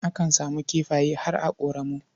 Akan samu kifaye har a ƙoramu.